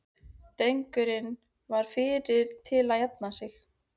Drengurinn var fyrri til að jafna sig.